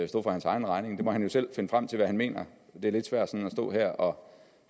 stå for hans egen regning der må han jo selv finde frem til hvad han mener det er lidt svært at stå her og